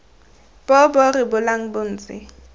bo bo rebolang bo ntse